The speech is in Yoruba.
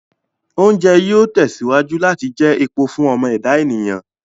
Oúnjẹ yìí ó tẹ̀síwájú láti jẹ epo fún ọmọ ẹ̀dá ènìyàn